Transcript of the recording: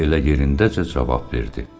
Əri elə yerindəcə cavab verdi.